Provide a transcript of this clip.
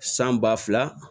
San ba fila